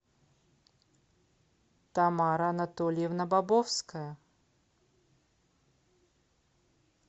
тамара анатольевна бобовская